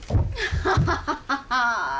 ha ha ha